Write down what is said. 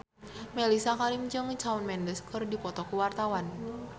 Mellisa Karim jeung Shawn Mendes keur dipoto ku wartawan